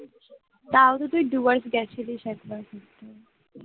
পাউরুটির device দেখ, সেটাই সব